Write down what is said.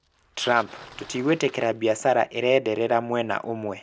Trump: Tũtigwĩtĩkĩra biacara ĩrenderera mwena ũmwe.